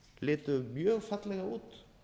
litu mjög fallega út